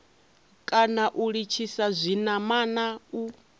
kana u litshisa zwinamana u